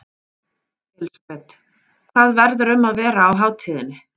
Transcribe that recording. Elísabet: Hvað verður um að vera á hátíðinni?